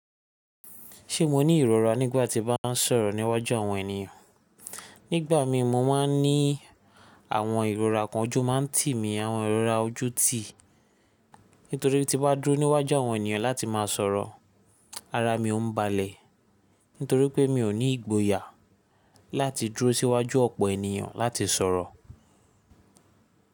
Ṣé mo ní ìrora nígbàtí bá n sọ̀rọ̀ níwájú àwọn ènìyàn? Nígbà mí mo máa n ní àwọn ìrora kan ojú máa n tì mí, àwọn ìrora ojú tì. Nítorí tí bá dúró níwájú àwọn ènìyàn láti máa sọ̀rọ̀ ara mi ọ n balẹ̀. Nítorí pé mi ò ní ìgboyà láti dúró síwájú ọ̀pọ̀ ènìyàn láti sọ̀rọ̀.